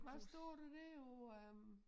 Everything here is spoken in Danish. Hvad står der dér på øh